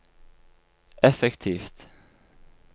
effektivt